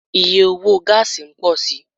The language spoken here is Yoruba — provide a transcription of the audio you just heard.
Iye owo gáásì n pọ si